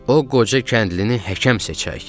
O qoca kəndlini həkəm seçək.